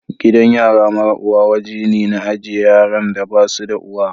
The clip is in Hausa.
Gidan yara mara uwa woje ne na ajie yaran da basu da uwa.